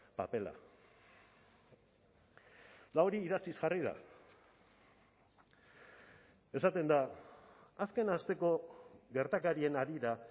papera eta hori idatziz jarri da esaten da azken asteko gertakarien harira